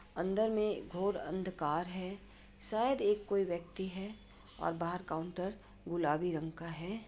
अंदर में घोर अंधकार है। शायद एक कोई व्यक्ति है और बाहर काउनटर गुलाबी रंग का है।